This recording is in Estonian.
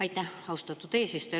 Aitäh, austatud eesistuja!